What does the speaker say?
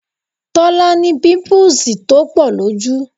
Tọ́lá ní pimpuusi tó pọ̀ lójú